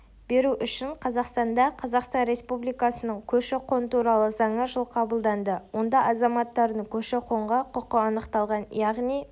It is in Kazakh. беру үшін қазақстанда қазақстан республикасының көші-қон туралы заңы жылы қабылданды онда азаматтардың көші-қонға құқы анықталған яғни